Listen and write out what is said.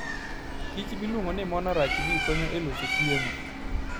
kich miluongo ni monarch bee konyo e loso chiemo.